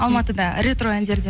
алматыда ретро әндерден